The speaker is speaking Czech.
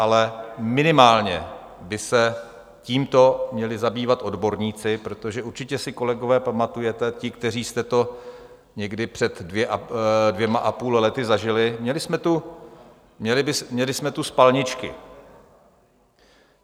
Ale minimálně by se tímto měli zabývat odborníci, protože určitě si kolegové pamatujete, ti, kteří jste to někdy před dvěma a půl lety zažili, měli jsme tu spalničky.